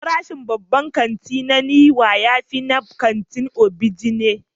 Farashin a babban kanti na Niwa ya fi na kantin Onigbinde.